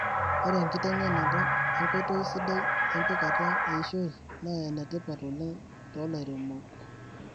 ore enkitengenata enkoitoi sidai empikata eishoi na enetipat oleng tolairemok